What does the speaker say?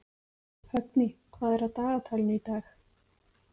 Högni, hvað er á dagatalinu í dag?